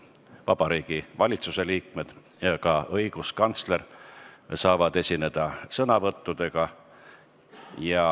Ka Vabariigi Valitsuse liikmed ja õiguskantsler saavad sõna võtta.